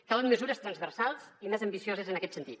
calen mesures transversals i més ambicioses en aquest sentit